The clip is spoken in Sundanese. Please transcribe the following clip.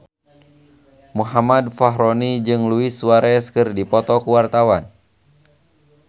Muhammad Fachroni jeung Luis Suarez keur dipoto ku wartawan